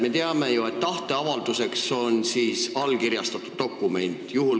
Me teame ju, et tahteavalduseks on allkirjastatud dokument.